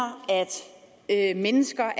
at mennesker